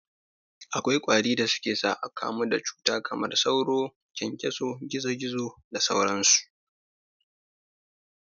Akwai kwarin da suke sa akamu da cuta kamar sauro, kyankyaso, gizo gizo da sauran su.